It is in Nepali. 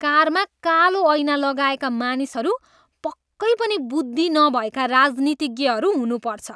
कारमा कालो ऐना लगाएका मानिसहरू पक्कै पनि बुद्धि नभएका राजनीतिज्ञहरू हुनुपर्छ।